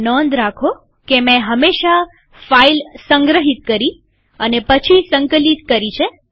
નોંધ રાખો કે મેં હંમેશા ફાઈલ સંગ્રહિત કરી અને સંકલિત કરી છે